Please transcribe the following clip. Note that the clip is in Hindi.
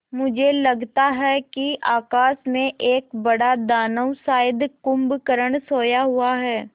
मुझे लगता है कि आकाश में एक बड़ा दानव शायद कुंभकर्ण सोया हुआ है